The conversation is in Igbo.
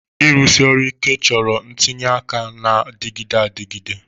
Ịrụsi ọrụ ike chọrọ ntinye aka na-adịgide adịgide